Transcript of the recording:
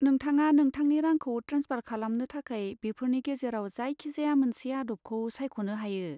नोंथाङा नोंथांनि रांखौ ट्रेन्सफार खालामनो थाखाय बेफोरनि गेजेराव जायखिजाया मोनसे आदबखौ सायख'नो हायो।